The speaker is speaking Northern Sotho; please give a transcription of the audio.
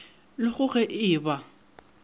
le go ge e ba